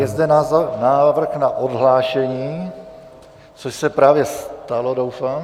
Je zde návrh na odhlášení, což se právě stalo, doufám...